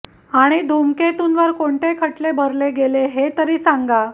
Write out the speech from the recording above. आणि धुमकेतूंवर कोणते खटले भरले गेले हे तरी सांगा